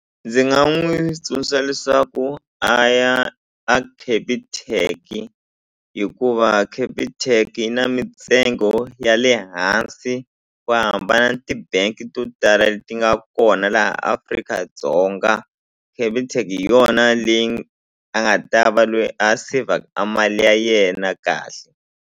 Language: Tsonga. Ndzi nga n'wi tsundzuxa leswaku a ya a Capitec hikuva Capitec yi na mintsengo ya le hansi ku hambana ni ti-bank to tala leti nga kona laha Afrika-Dzonga Capitec hi yona leyi a nga ta va lweyi a sevhaka mali ya yena kahle.